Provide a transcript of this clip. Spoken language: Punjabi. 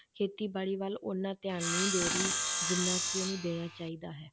ਖੇਤੀਬਾੜੀ ਵੱਲ ਓਨਾ ਧਿਆਨ ਨਹੀਂ ਦੇ ਰਹੀ ਜਿੰਨਾ ਕਿ ਉਹਨੂੰ ਦੇਣਾ ਚਾਹੀਦਾ ਹੈ।